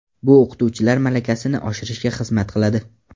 Bu o‘qituvchilar malakasini oshirishga xizmat qiladi.